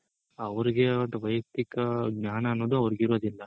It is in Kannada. ಅವ್ರಿಗೆ ಆದ ವ್ಯಯಕ್ತಿಕ ಜ್ಞಾನ ಅನ್ನೋದು ಅವ್ರಿಗ್ ಇರೋದಿಲ್ಲ.